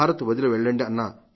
భారత్ వదిలి వెళ్లండి